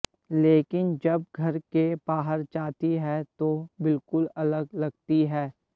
लेकिन जब घर के बाहर जाती है तो बिलकुल अलग लगती है